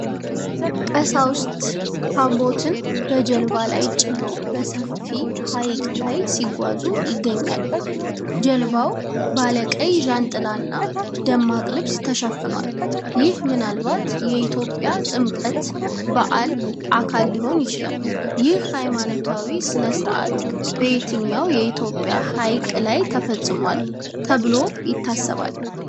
ቀሳውስት ታቦትን በጀልባ ላይ ጭነው በሰፊ ሐይቅ ላይ ሲጓዙ ይገኛሉ። ጀልባው ባለቀይ ዣንጥላና ደማቅ ልብስ ተሸፍኗል፤ ይህ ምናልባት የኢትዮጵያ ጥምቀት በዓል አካል ሊሆን ይችላል። ይህ ሃይማኖታዊ ሥነ ሥርዓት በየትኛው የኢትዮጵያ ሐይቅ ላይ ተፈጽሟል ተብሎ ይታሰባል?